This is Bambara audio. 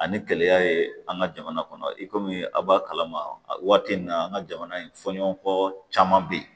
Ani kɛlɛya ye an ka jamana kɔnɔ i komi a b'a kalama waati min na an ka jamana in fɔɲɔgɔnkɔ caman be yen